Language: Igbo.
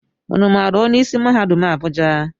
Ụnụ maara onye isi mahadum Abuja?